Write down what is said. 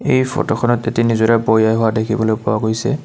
এই ফটোখনত এটি নিজৰা বৈ অহা দেখিবলৈ পোৱা গৈছে।